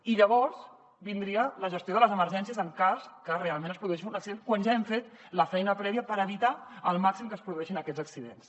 i llavors vindria la gestió de les emergències en cas que realment es produeixi un accident quan ja hem fet la feina prèvia per evitar al màxim que es produeixin aquests accidents